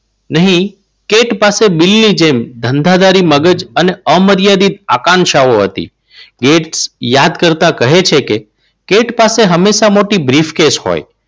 નહીં કે કેંટ પાસે બિલની જેમ ધંધાદારી મગજ અને અમર્યાદિત આકાંક્ષાઓ હતી. ગેટ્સ યાદ કરતા કહે છે કે કેન્ડ પાસે હંમેશા મોટી બ્રીફ કેસ હોય.